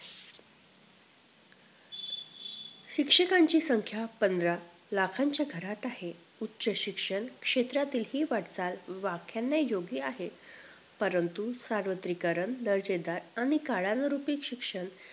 शिक्षकांची संख्या पंधरा लाखाच्या घरात आहे उच्च शिक्षण क्षेत्रातील हि वाटचाल वाख्याना योग्य आहे परंतु सार्वत्रीकरण दर्जेदार आणि काळानरूपी शिक्षण